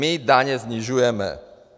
My daně snižujeme!